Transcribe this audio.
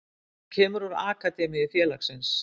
Hann kemur úr akademíu félagsins.